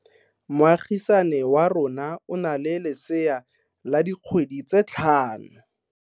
Moagisane wa rona o na le lesea la dikgwedi tse tlhano.